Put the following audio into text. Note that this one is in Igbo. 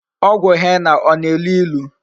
Ogwu henna o na-elu ilu?